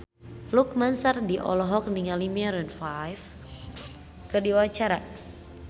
Lukman Sardi olohok ningali Maroon 5 keur diwawancara